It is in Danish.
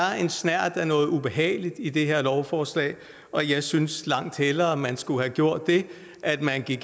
en snert af noget ubehageligt i det her lovforslag og jeg synes langt hellere man skulle have gjort det at man gik